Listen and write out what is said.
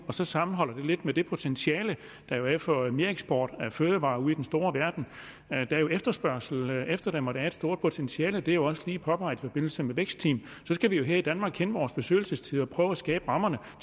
så sammenholder det lidt med det potentiale der er for mereksport af fødevarer ude i den store verden der er efterspørgsel efter dem og der er et stort potentiale det er også lige påpeget i forbindelse med vækstteam så skal vi jo her i danmark kende vores besøgelsestid og prøve at skabe rammerne for